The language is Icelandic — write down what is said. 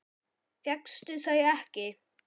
Fékkstu þau ekki?